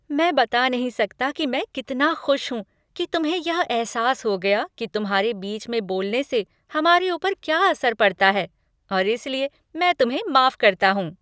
मैं बता नहीं सकता कि मैं कितना खुश हूँ कि तुम्हें यह एहसास हो गया कि तुम्हारे बीच में बोलने से हमारे ऊपर क्या असर पड़ता है और इसलिए मैं तुम्हें माफ करता हूँ।